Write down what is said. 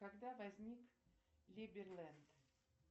когда возник либерленд